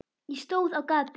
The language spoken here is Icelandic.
Ég stóð á gati.